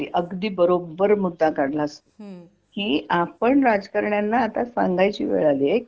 अगदी बरोबर मुद्दा काढलास की आपण राजकारण्यांना आता सांगायची वेळ आलीय की